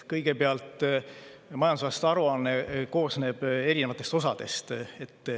Kõigepealt, majandusaasta aruanne koosneb erinevatest osadest.